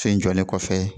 So jɔlen kɔfɛ